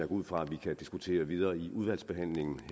ud fra vi kan diskutere videre i udvalgsbehandlingen